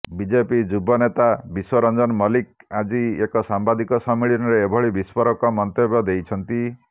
BJP ଯୁବ ନେତା ବିଶ୍ୱ ରଂଜନ ମଲ୍ଲିକ ଆଜି ଏକ ସାମ୍ବାଦିକ ସମ୍ମିଳନୀରେ ଏଭଳି ବିସ୍ଫୋରକ ମନ୍ତବ୍ୟ ଦେଇଛନ୍ତି